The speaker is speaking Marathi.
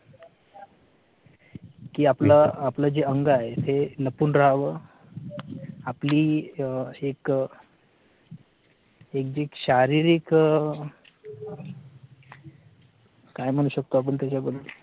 की आपला आपल जे अंग आहे ते लपून राहावं आपली अह एक अह एक जी शारीरिक अह काय म्हणू शकतो आपण त्याच्याबद्दल